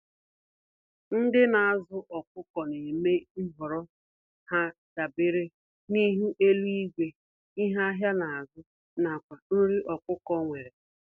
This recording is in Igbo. Ndị nazụ ọkụkọ némè' nhọrọ ha dabere n'ihu eluigwe, ihe ahịa nazụ, nakwa nri ọkụkọ enwere.